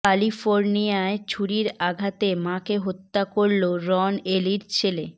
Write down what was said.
ক্যালিফোর্নিয়ায় ছুরির আঘাতে মাকে হত্যা করল রন এলির ছেলে